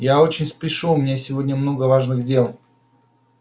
я очень спешу у меня сегодня много важных дел